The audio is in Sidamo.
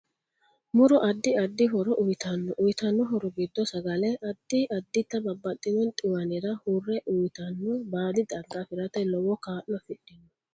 Muro addi addi horo uyiitanno uyiitano horo giddo sagale, addi additta babbxino xiwanira hurre uiitanno baadi xagga afirate lowo kaa'lo afidhinno